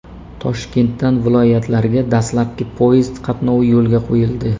Toshkentdan viloyatlarga dastlabki poyezd qatnovi yo‘lga qo‘yildi.